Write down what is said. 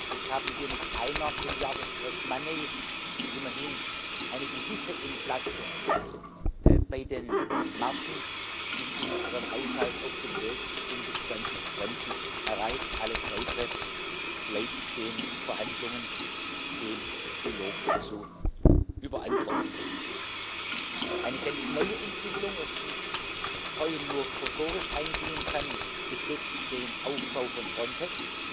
Jetzt haben wir mit einer Milliarde fresh money immerhin eine gewisse Entlastung bei den Margen in unserem Haushalt auf dem Weg zu Ende 2020 erreicht, alles Weitere bleibt den Verhandlungen, dem Trilog zu überantworten. Eine ganz neue Entwicklung, auf die ich heute nur kursorisch eingehen kann, betrifft den Aufbau von Frontex,